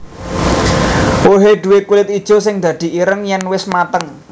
Wohé duwé kulit ijo sing dadi ireng yèn wis mateng